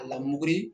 A lamun